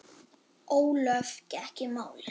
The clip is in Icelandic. Ólöf gekk í málið.